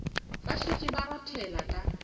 ba šetše ba rothela ka